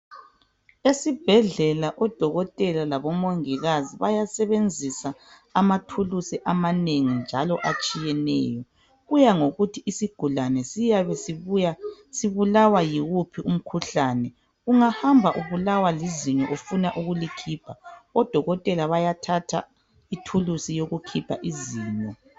Esibhedlela odokotela labomongikazi bayasebenzisa amathulusi amanengi njalo atshiyeneyo kuya ngokuthi isigulane siyabe sibuya sibulawa yiwuphi umkhuhlane ungahamba ubulawa lizinyo ufuna ukulikhipha odokotela bayathatha ithulusi yokukhipha izinyo.